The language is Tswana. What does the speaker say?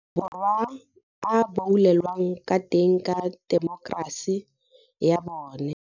Borwa a boulelwang ka teng ka temokerasi ya bona.